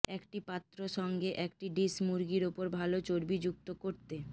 একটি পাত্র সঙ্গে একটি ডিশ মুরগির উপর ভাল চর্বিযুক্ত করতে